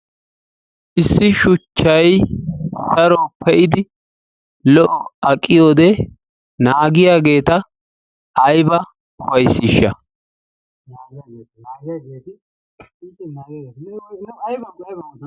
Issi shuchchayi saro pe"idi lo"o aqiyode naagiyageeta ayba ufayssiishsha...